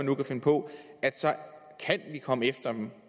nu kan finde på kan vi komme efter dem